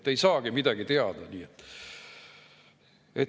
Te ei saagi midagi teada.